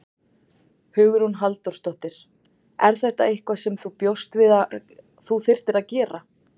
Hugrún Halldórsdóttir: Er þetta eitthvað sem þú bjóst við að þú þyrftir að gera?